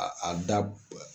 A da